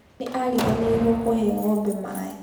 Nĩ ariganĩirwo kũhee ngombe maaĩ